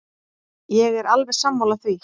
Ég er alveg sammála því.